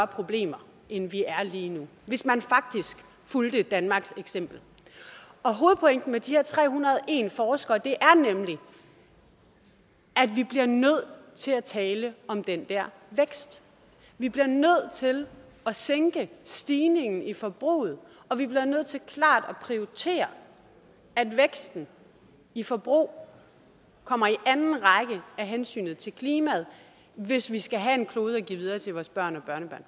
problemer end vi er lige nu hvis man faktisk fulgte danmarks eksempel hovedpointen hos de her tre hundrede og en forskere er nemlig at vi bliver nødt til at tale om den der vækst vi bliver nødt til at sænke stigningen i forbruget og vi bliver nødt til klart at prioritere at væksten i forbrug kommer i anden række af hensyn til klimaet hvis vi skal have en klode at give videre til vores børn